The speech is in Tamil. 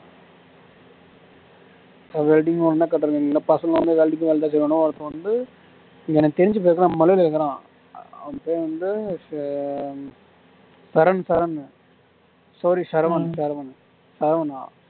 பசங்களுக்கு வந்து எனக்கு தெரிஞ்சு பசங்க மலையாளி இருக்கறான் அப்போ வந்து ச சரண் சரண் sorry சரவணன் சரவணன் சரவணா